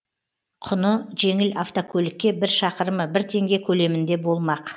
құны жеңіл автокөлікке бір шақырымы бір теңге көлемінде болмақ